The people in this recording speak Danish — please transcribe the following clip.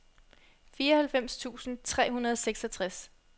fireoghalvfems tusind tre hundrede og seksogtres